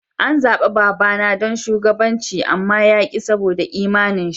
An zabe baba na dan shugabanci amma ya ki saboda imani'n shi.